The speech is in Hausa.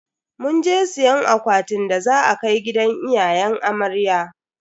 Munje siyan akwatin da za a kai gidan iyayen amarya.